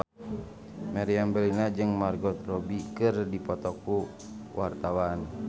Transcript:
Meriam Bellina jeung Margot Robbie keur dipoto ku wartawan